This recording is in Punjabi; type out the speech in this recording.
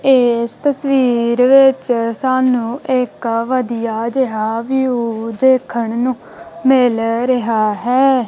ਏਸ ਤਸਵੀਰ ਵਿੱਚ ਸਾਨੂੰ ਇੱਕ ਵਧੀਆ ਜੇਹਾ ਵਿਊ ਦੇਖਣ ਨੂੰ ਮਿਲ ਰਿਹਾ ਹੈ।